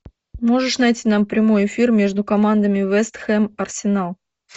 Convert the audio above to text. можешь найти нам прямой эфир между командами вест хэм арсенал